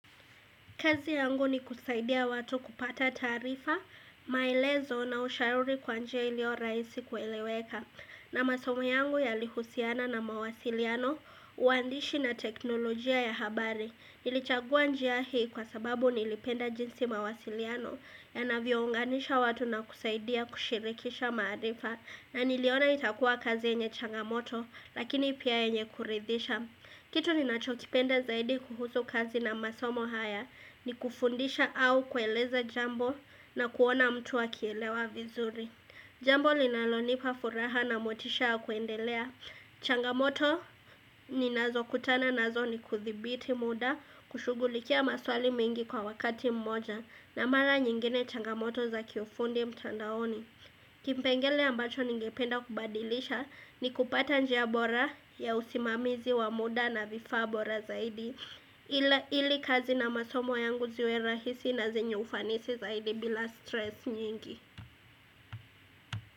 Kazi yangu ni kusaidia watu kupata taarifa, maelezo na ushauri kwa njia ilio rahisi kueleweka. Na masomo yangu yalihusiana na mawasiliano, uandishi na teknolojia ya habari. Nilichagua njia hii kwa sababu nilipenda jinsi mawasiliano yanavyo unganisha watu na kusaidia kushirikisha maarifa. Na niliona itakuwa kazi yenye changamoto lakini pia yenye kuridhisha. Kitu ninacho kipenda zaidi kuhusu kazi na masomo haya ni kufundisha au kueleza jambo na kuona mtu akielewa vizuri. Jambo linalonipa furaha na motisha wa kuendelea. Changamoto ninazo kutana nazo ni kudhibiti muda kushughulikia maswali mengi kwa wakati mmoja na mara nyingine changamoto za kiufundi mtandaoni. Kipengele ambacho ningependa kubadilisha ni kupata njia bora ya usimamizi wa muda na vifaa bora zaidi ili kazi na masomo yangu ziwe rahisi na zenye ufanisi zaidi bila stress nyingi.